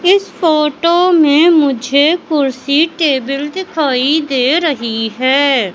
इस फोटो में मुझे कुर्सी टेबल दिखाई दे रही है।